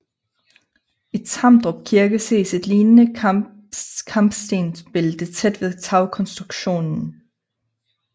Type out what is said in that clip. I Tamdrup Kirke ses et lignende kampestensbælte tæt ved tagkonstruktionen